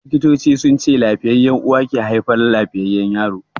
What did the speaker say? Likitocin sunce lafiyayya uwa ke haifar lafiyayyan yaro.